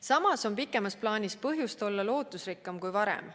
Samas on pikemas plaanis põhjust olla lootusrikkam kui varem.